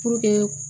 Puruke